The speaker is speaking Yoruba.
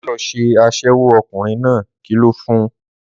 Má lọ ṣe aṣẹ́wó, ọkùnrin náà kìlọ̀ fun